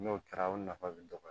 N'o kɛra o nafa bɛ dɔgɔya